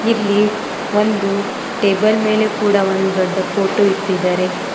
ಇಲ್ಲಿ ಒಂದು ಟೇಬಲ್ ಮೇಲೆ ಕೂಡ ಒಂದ್ ದೊಡ್ ಫೋಟೋ ಇಟ್ಟಿದ್ದಾರೆ.